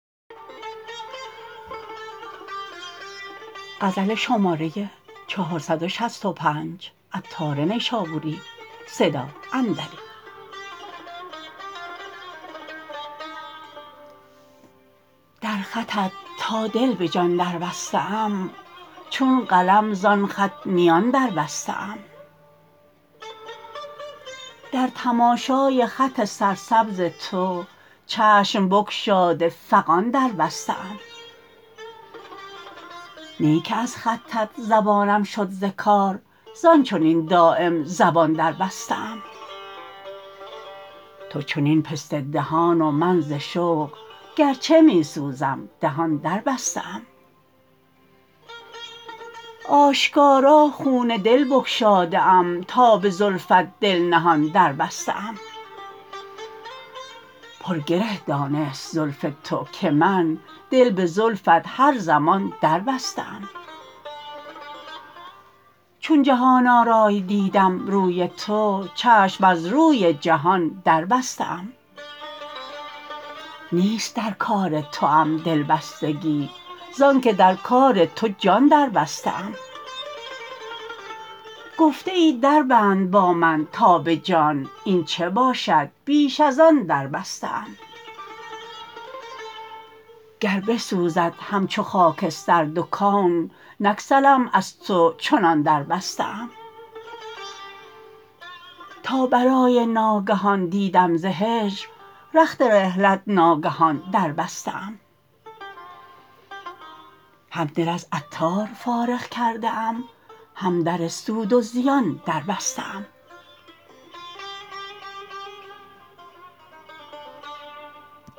در خطت تا دل به جان در بسته ام چون قلم زان خط میان در بسته ام در تماشای خط سرسبز تو چشم بگشاده فغان در بسته ام نی که از خطت زبانم شد ز کار زان چنین دایم زبان در بسته ام تو چنین پسته دهان و من ز شوق گرچه می سوزم دهان در بسته ام آشکارا خون دل بگشاده ام تا به زلفت دل نهان در بسته ام پر گره دانست زلف تو که من دل به زلفت هر زمان در بسته ام چون جهان آرای دیدم روی تو چشم از روی جهان در بسته ام نیست در کار توام دلبستگی زانکه در کار تو جان در بسته ام گفته ای در بند با من تا به جان این چه باشد بیش از آن در بسته ام گر بسوزد همچو خاکستر دو کون نگسلم از تو چنان در بسته ام تا بلای ناگهان دیدم ز هجر رخت رحلت ناگهان در بسته ام هم دل از عطار فارغ کرده ام هم در سود و زیان در بسته ام